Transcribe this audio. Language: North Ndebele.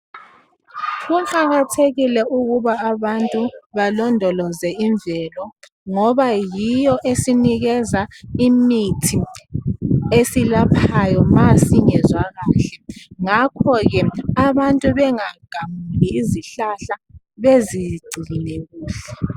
kuqhakathekile ukuba abantu balondoloze imvelo ngoba yiyoesinikeza imithi esilaphayo ma singezwakahle ngakhoke abantu bengagamuli izihlahla bezicine kuhle